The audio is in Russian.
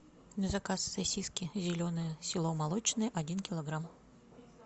заказ сосиски зеленые село молочное один килограмм